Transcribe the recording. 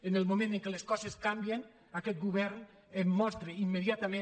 en el moment en què les coses canvien aquest govern mostra immediatament